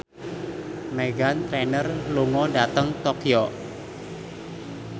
Meghan Trainor lunga dhateng Tokyo